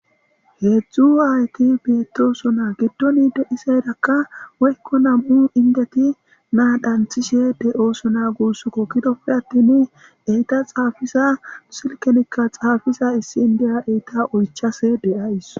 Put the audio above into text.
Heezzu aayethi beeththoosona; giddoni de7izeerakka woykko nam7u inddethi na7aa xanththishee de7oosona guusakoo; gidoppe aththini enththa xaafiza silkkenikka xaafiza issi inddiya eetha oychchasee de7ays.